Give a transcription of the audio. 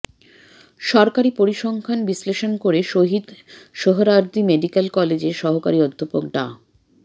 সরকারি পরিসংখ্যান বিশ্লেষণ করে শহীদ সোহরাওয়ার্দী মেডিকেল কলেজের সহকারী অধ্যাপক ডা